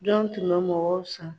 Jɔn tun bɛ mɔgɔw san ?